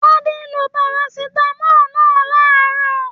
Tade lo parasítámọ̀ náà laarọ.